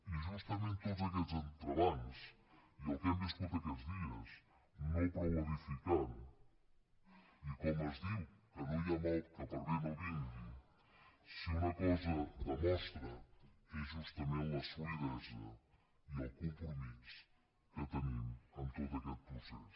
i justament tots aquests entrebancs i el que hem viscut aquests dies no prou edificant i com es diu que no hi ha mal que per bé no vingui si una cosa demostren és justament la solidesa i el compromís que tenim en tot aquest procés